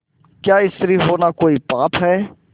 क्या स्त्री होना कोई पाप है